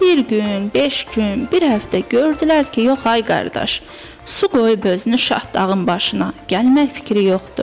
Bir gün, beş gün, bir həftə gördülər ki, yox ay qardaş, su qoyub özünü Şahdağın başına gəlmək fikri yoxdur.